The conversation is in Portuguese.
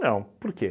Não, por quê?